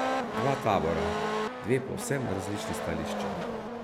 Dva tabora, dve povsem različni stališči.